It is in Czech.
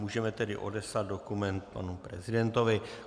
Můžeme tedy odeslat dokument panu prezidentovi.